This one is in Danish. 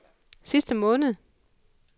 sidste måned